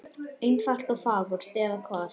Einfalt og fagurt, eða hvað?